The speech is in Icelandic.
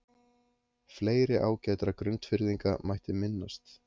Fleiri ágætra Grundfirðinga mætti minnast.